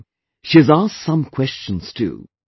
Also, she has asked some questions too